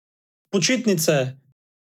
Počitnice!